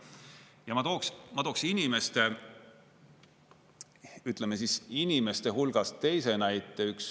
Ma tooksin, ütleme siis, inimeste hulgast teise näite.